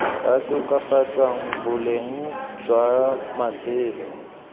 tla tokafatsang boleng jwa matshelo